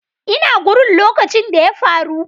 Ina gurin lokacin da ya faru.